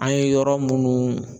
An ye yɔrɔ munnu